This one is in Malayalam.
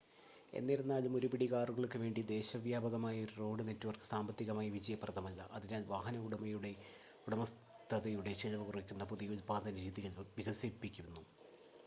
എന്നിരുന്നാലും ഒരുപിടി കാറുകൾക്കുവേണ്ടി ദേശവ്യാപകമായ ഒരു റോഡ് നെറ്റ് വർക്ക് സാമ്പത്തികമായി വിജയപ്രദമല്ല അതിനാൽ വാഹന ഉടമസ്ഥതയുടെ ചിലവ് കുറയ്ക്കുന്ന പുതിയ ഉൽപാദന രീതികൾ വികസിപ്പിക്കുന്നു